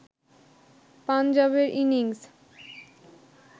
পাঞ্জাবের ইনিংস